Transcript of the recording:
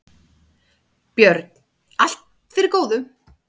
Björn: Allt fyrir góðu.